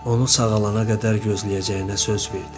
Onu sağalana qədər gözləyəcəyinə söz verdi.